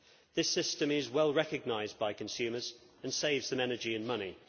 This system is well recognised by consumers and saves them energy and money.